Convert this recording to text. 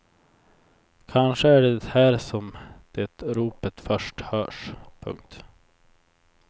Kanske är det här som det ropet först hörs. punkt